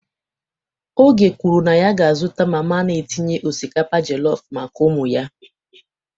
Oge kwuru na ya ga-azụta mama na-etinye osikapa jollof maka ụmụ ya.